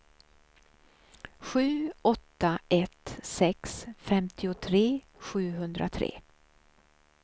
sju åtta ett sex femtiotre sjuhundratre